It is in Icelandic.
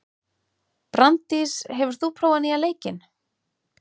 Branddís, hefur þú prófað nýja leikinn?